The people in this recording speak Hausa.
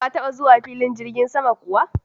Ka taba zuwa filin jirgin sama kuwa?